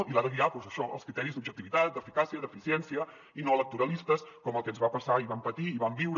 i l’ha de guiar doncs això els criteris d’objectivitat d’eficàcia d’eficiència i no electoralistes com el que ens va passar i vam patir i vam viure